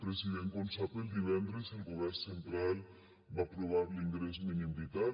president com sap el divendres el govern central va aprovar l’ingrés mínim vital